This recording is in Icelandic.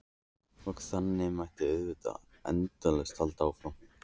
Og þannig mætti auðvitað endalaust halda áfram.